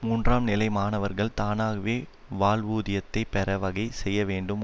மூன்றாம் நிலை மாணவர்கள் தானாகவே வாழ்வூதியத்தைப் பெற வகை செய்ய வேண்டும்